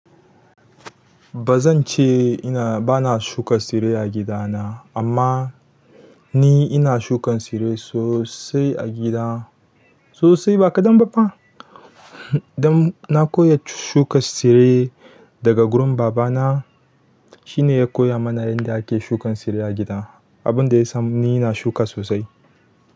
Ba zan ce ina ba na shuka tsire a gidana amma ni ina shukan tsire sosai a gida sosai ba kaɗan ba fa. Dan na koya shuka tsire daga gurin babana. Shine ya koya mana yadda ake shukan tsire a gida. Abun da ya sa ni ina shuka sosai.